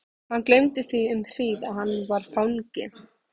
Hann gleymdi því um hríð að hann var fangi.